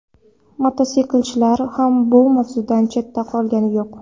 Mototsiklchilar ham bu mavzudan chetda qolgani yo‘q.